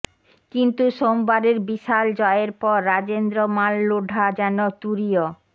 কিন্তু সোমবারের বিশাল জয়ের পর রাজেন্দ্র মাল লোঢা যেন তূরীয়